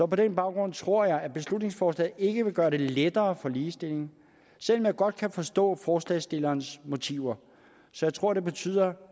på den baggrund tror jeg at beslutningsforslaget ikke vil gøre det lettere for ligestillingen selv om jeg godt kan forstå forslagsstillernes motiver jeg tror det betyder